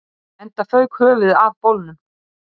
Enda fauk höfuðið af bolnum